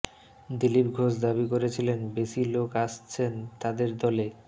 দিলীপ ঘোষ দাবি করেছিলেন বেশি লোক আসছেন তাঁদের দলে